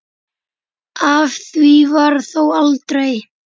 Af því varð þó aldrei.